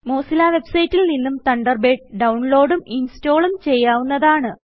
Mozilla വെബ്സൈറ്റിൽ നിന്നും തണ്ടർബേഡ് ഡൌൺലോഡും ഇൻസ്റ്റാളും ചെയ്യാവുന്നതാണ്